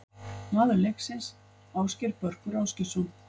Maður leiksins: Ásgeir Börkur Ásgeirsson.